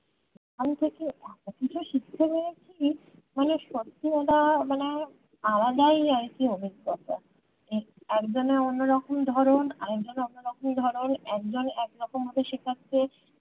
আমি যে এতো কিছু শিখতে পেরেছি মানে সত্যি কথা মানে আলাদাই আরকি অভিজ্ঞতা একজনের অন্য রকম ধরণ আর একজনের অন্য রকম ধরণ একজন একরকম ভাবে শেখাচ্ছে